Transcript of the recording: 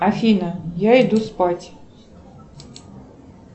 афина я иду спать